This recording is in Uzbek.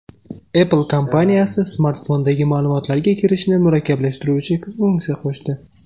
Apple kompaniyasi smartfondagi ma’lumotlarga kirishni murakkablashtiruvchi funksiya qo‘shdi.